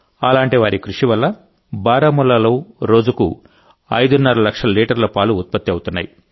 అలాంటి వారి కృషి వల్ల బారాముల్లాలో రోజుకు ఐదున్నర లక్షల లీటర్ల పాలు ఉత్పత్తి అవుతున్నాయి